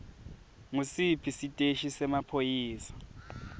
ngusiphi siteshi semaphoyisa